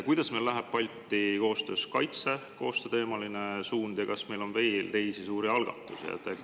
Kuidas läheb meil Balti kaitsekoostöö teemal ja kas meil on veel teisi suuri algatusi?